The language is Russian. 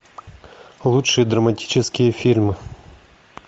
лучшие драматические фильмы